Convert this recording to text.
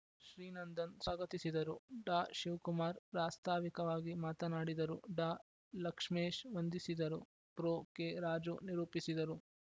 ಶ್ರೀನಂದನ್‌ ಸ್ವಾಗತಿಸಿದರು ಡಾಶಿವ್ಕುಮಾರ್‌ ಪ್ರಾಸ್ತಾವಿಕವಾಗಿ ಮಾತನಾಡಿದರು ಡಾ ಲಕ್ಷ್ಮೇಶ್‌ ವಂದಿಸಿದರು ಪ್ರೊ ಕೆರಾಜು ನಿರೂಪಿಸಿದರು